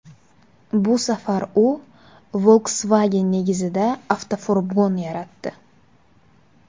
Bu safar u Volkswagen negizida avtofurgon yaratdi.